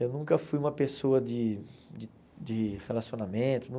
Eu nunca fui uma pessoa de de de relacionamento, nunca.